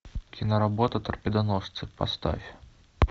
киноработа торпедоносцы поставь